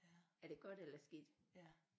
Er det godt eller skidt